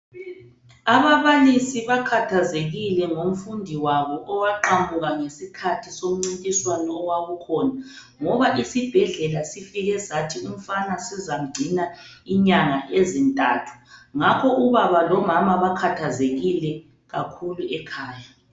Ababalisi bakhathazekile ngomfundi wabo owaqamuka ngesikhathi somncintiswano owawukhona ngoba isibhedlela sifike sathi umfana sizamgcina inyanga ezintathu ngakho ubaba lomama bakhathazekile kakhulu ekhaya.